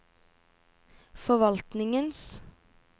forvaltningens